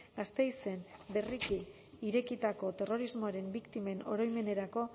gasteizen berriki irekitako terrorismoaren biktimen oroimenerako